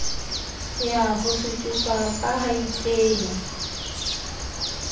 ya ho suthiswa ha baipehi